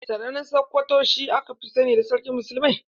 Sardauna na sakwato shi aka sani da sarkin muslimai.